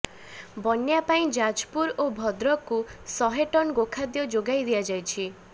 ବନ୍ୟା ପାଇଁ ଯାଜପୁରଓ ଭଦ୍ରକକୁ ଶହେ ଟନ ଗୋଖାଦ୍ୟ ଯୋଗାଇ ଦିଆଯାଇଛି